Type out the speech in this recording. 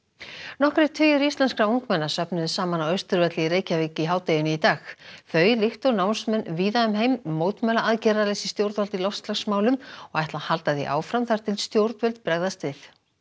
nokkrir tugir íslenskra ungmenna söfnuðust saman á Austurvelli í Reykjavík í hádeginu í dag þau líkt og námsmenn víða um heim mótmæla aðgerðaleysi stjórnvalda í loftslagsmálum og ætla að halda því áfram þar til stjórnvöld bregðast við